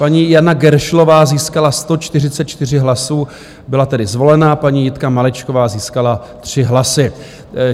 Paní Jana Geršlová získala 144 hlasů, byla tedy zvolena, paní Jitka Malečková získala 3 hlasy.